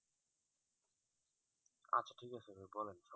আচ্ছা ঠিক আছে ভাই পড়েন